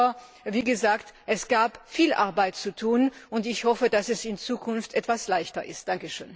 Aber wie gesagt es gab viel Arbeit zu tun, und ich hoffe, dass es in Zukunft etwas leichter wird.